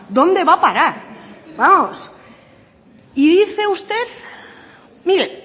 donde va a parar vamos y dice usted mire